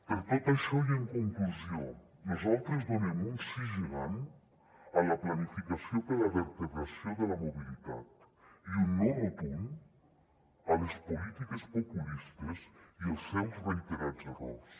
per tot això i en conclusió nosaltres donem un sí gegant a la planificació per a la vertebració de la mobilitat i un no rotund a les polítiques populistes i als seus reiterats errors